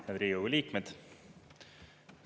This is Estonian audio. Head Riigikogu liikmed!